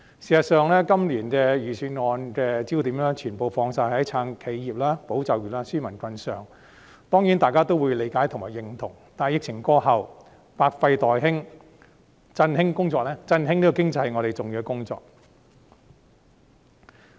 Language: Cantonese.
事實上，今年的預算案焦點全部放在"撐企業、保就業、紓民困"上，當然大家也會理解和認同，但疫情過後，百廢待興，振興經濟是我們重要的工作。